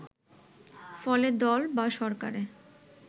ফলে দল বা সরকারের